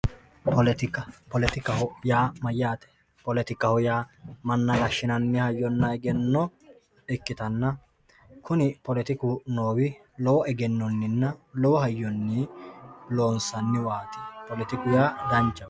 poletika poletikaho yaa mayyate poletikaho yaa manna gashshinanni hayyonna egenno ikkitanna kuni poletiku noowi lowo egennonninna lowo hayyonni loonsanniwaati poletiku yaa danchaho.